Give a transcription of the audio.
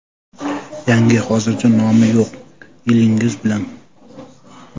Yangi, hozircha nomi yo‘q yilingiz bilan.